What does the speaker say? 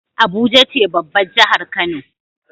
Abuja ce babbar jahar kano